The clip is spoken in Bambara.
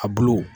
A bulu